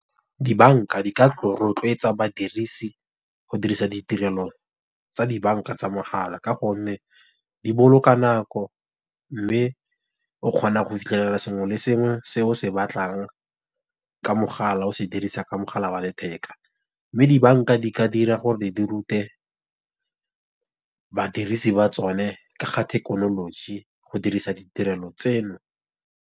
Di banka di ka rotloetsa badirisi go dirisa ditirelo tsa di banka tsa mogala, ka gonne di boloka nako, mme o kgona go fitlhelela sengwe le sengwe se o se batlang ka mogala, o se dirisa ka mogala wa letheka. Mme di banka di ka dira gore di rute badirisi ba tsone ka ga thekenoloji, go dirisa ditirelo tseno.